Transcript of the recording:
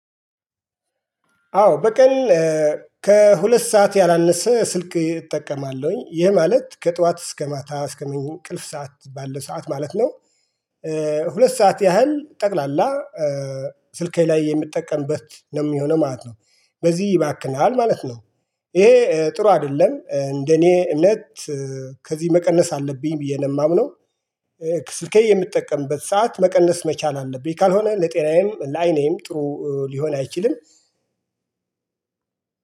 አዎ በቀል ከሁለት ሰዓት ያላነሰ ስልክ እጠቀማለሁኝ ይህ ማለት ከጧት እስከ ማታ እስከ ምን ቅልፍ ሰዓት ባለው ሰዓት ማለት ነው። ሁለት ሰዓት ያህል ጠቅላላ። ስልኬ ላይ የምጠቀምበት ነው ሚሆነው ማለት ነው። በዚህ ይባክናል ማለት ነው። ይሄ ጥሩ አደለም እንደኔ እምነት። ከዚህ መቀነስ አለብኝ ብዬ ነው ማምነው። ስልኬ የምትጠቀምበት ሰዓት መቀነስ መቻል አለብኝ ካልሆነ ለጤናዬም ለአይኔም ጥሩ ሊሆን አይችልም።